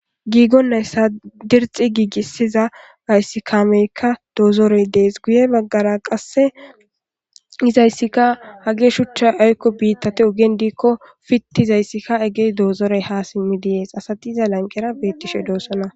Giigonnayssa dirxi giigissiza ayssikaameykka doozoroy dees guye baggara qasse izayssika hage shuchcha aykko biittate ugen diikko fitti izayssika egey doozorey ha simmi diees asati iza lanqera beettishe doossana